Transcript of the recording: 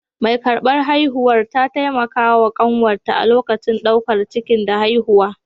Mai ƙarɓar haihuwar ta taimaka wa kanwata a lokacin ɗaukar ciki da haihuwa.